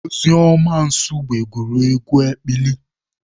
Ozoemena Nsugbe gụrụ egwu ekpili.